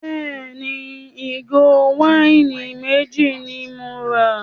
Bẹ́ẹ̀ni, ìgò wáìnì méjì ni mo rà.